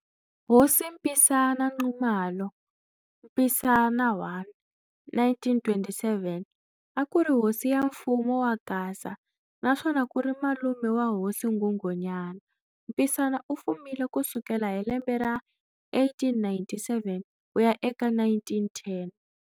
Hosi Mpisana Nxumalo, Mpisana I, 1927 a kuri hosi ya mfumo wa Gaza naswona kuri malume wa hosi Nghunghunyana. Mpisana u fumile kusukela hi lembe ra 1897 ku ya eka 1910.